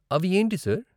అవి ఏంటి, సార్ ?